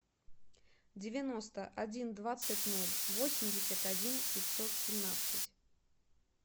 девяносто один двадцать ноль восемьдесят один пятьсот семнадцать